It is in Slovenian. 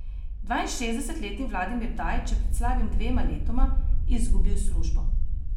Dvainšestdesetletni Vladimir Dajč je pred slabima dvema letoma izgubil službo.